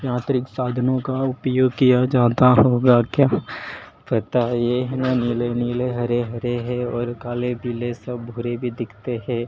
यांत्रिक साधनों का उपयोग किया जाता होगा क्या पता है ये नीले नीले हरे हरे है और काले पीले सब ग्रे दिखते हैं।